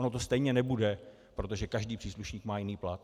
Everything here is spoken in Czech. Ono to stejně nebude, protože každý příslušník má jiný plat.